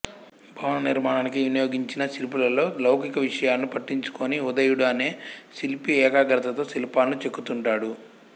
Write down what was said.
భవన నిర్మాణానికి వినియోగించిన శిల్పులలో లౌకిక విషయాలను పట్టించుకోని ఉదయుడు అనే శిల్పి ఏకాగ్రతతతో శిల్పాలను చెక్కుతుంటాడు